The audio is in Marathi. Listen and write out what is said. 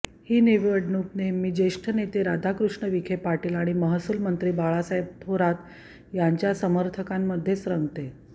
ही निवडणूक नेहमी ज्येष्ठ नेते राधाकृष्ण विखे पाटील आणि महसूलमंत्री बाळासाहेब थोरात यांच्या समर्थकांमध्येच रंगते